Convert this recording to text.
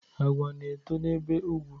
Agwa na-eto n'ebe ugwu